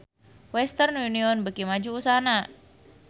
Western Union beuki maju usahana